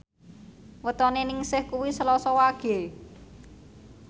wetone Ningsih kuwi Selasa Wage